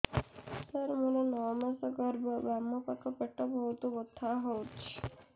ସାର ମୋର ନଅ ମାସ ଗର୍ଭ ବାମପାଖ ପେଟ ବହୁତ ବଥା ହଉଚି